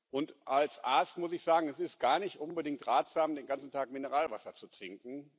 Und als Arzt muss ich sagen Es ist gar nicht unbedingt ratsam, den ganzen Tag Mineralwasser zu trinken.